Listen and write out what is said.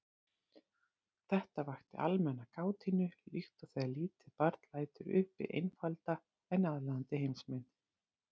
Þetta vakti almenna kátínu líkt og þegar lítið barn lætur uppi einfalda en aðlaðandi heimsmynd.